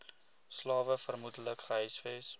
slawe vermoedelik gehuisves